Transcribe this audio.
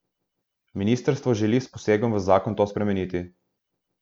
Ministrstvo želi s posegom v zakon to spremeniti.